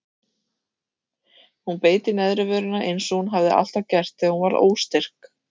Hún beit í neðri vörina eins og hún hafði alltaf gert þegar hún var óstyrk.